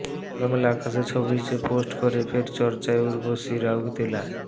খোলামেলা পোশাকে ছবি পোস্ট করে ফের চর্চায় উর্বশী রাউতেলা